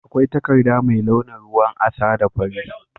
Akwai takarda mai launin ruwan asa da fari.